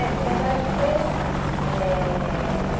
É, na verdade foi assim. Eh